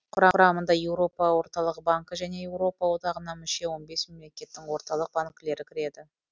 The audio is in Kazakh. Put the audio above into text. құрамына еуропа орталық банкі және еуропа одағына мүше он бес мемлекеттің орталық банкілері кіреді